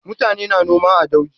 Mutane na noma a dauji.